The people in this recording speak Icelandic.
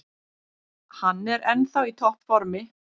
Hann er ennþá í topp formi.